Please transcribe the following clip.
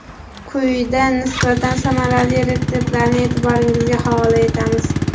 Quyida nisbatan samarali retseptlarni e’tiboringizga havola etamiz.